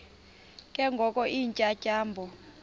ke ngoko iintyatyambo